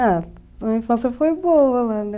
Ah, a minha infância foi boa lá, né?